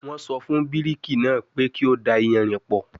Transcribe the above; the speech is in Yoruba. Wọ́n sọ fún bíríkì náà pé kí ó da iyanrìn pọ̀